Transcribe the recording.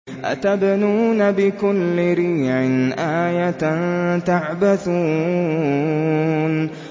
أَتَبْنُونَ بِكُلِّ رِيعٍ آيَةً تَعْبَثُونَ